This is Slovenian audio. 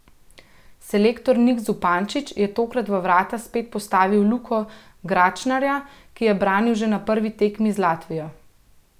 Selektor Nik Zupančič je tokrat v vrata spet postavil Luko Gračnarja, ki je branil že na prvi tekmi z Latvijo.